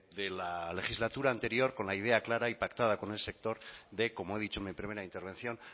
de la legislatura anterior con la idea clara y pactada con el sector de como he dicho en mi primera intervención